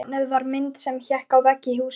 Tilefnið var mynd sem hékk á vegg í húsi.